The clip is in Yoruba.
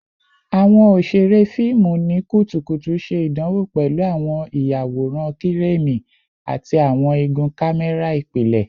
Awọn oṣere fiimu ni kutukutu ṣe idanwo pẹlu awọn iyaworan Kireni ati awọn igun kamẹra ipilẹ